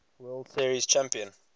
world series champion